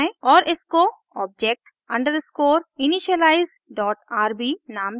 और इसको object undescore initialize dot rb नाम दें